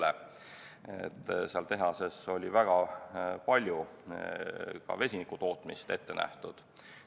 Selles tehases oli väga palju ka vesiniku tootmist ette nähtud.